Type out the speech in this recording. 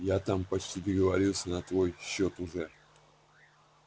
я там почти договорился на твой счёт уже